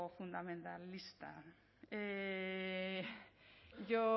fundamentalista yo